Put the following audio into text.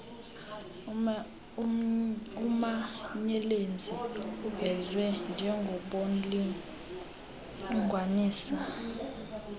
umanyelenzi uvezwe njengornlinganiswa